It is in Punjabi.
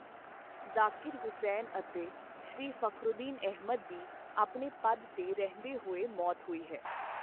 ਜਾਕਿਰ ਹੁਸੈਨ ਅਤੇ ਸ਼੍ਰੀ ਫਖਰੂਦੀਨ ਅਹਿਮਦ ਦੀ ਆਪਣੇ ਪਦ ਤੇ ਰਹਿੰਦੇ ਹੋਏ ਮੌਤ ਹੋਈ ਹੈ।